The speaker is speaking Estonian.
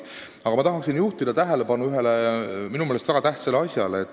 Aga ma tahan juhtida tähelepanu ühele minu meelest väga tähtsale asjale.